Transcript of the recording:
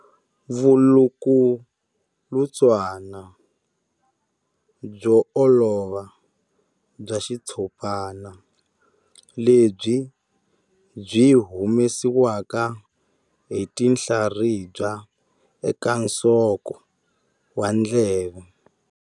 Vulukulutswana byo olova bya xitshopana lebyi byi humesiwaka hi tinhlaribya eka nsoko wa ndleve.